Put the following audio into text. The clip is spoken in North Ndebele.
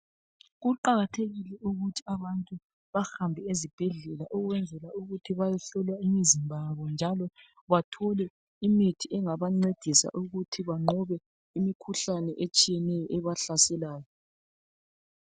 Kuqakathekile ukuthi abantu bahambe ezibhedlela ukwenzela ukuthi bayohlolwa imizimba yabo njalo bathole imithi engabancedisa ukuthi banqobe imikhuhlane etshiyeneyo ebahlaselayo.